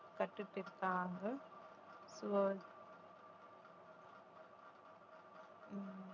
கத்துக்கிட்டிருக்காங்க so உம்